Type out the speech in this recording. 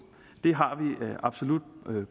det har vi absolut